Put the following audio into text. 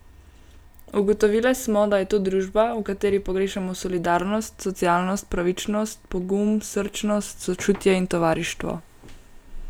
Ugotovile smo, da je to družba, v kateri pogrešamo solidarnost, socialno pravičnost, pogum, srčnost, sočutje in tovarištvo.